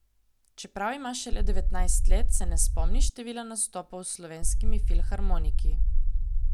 Čeprav ima šele devetnajst let, se ne spomni števila nastopov s slovenskimi filharmoniki.